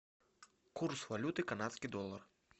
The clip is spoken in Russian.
курс валюты канадский доллар